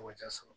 Tɔgɔ jaa sɔrɔ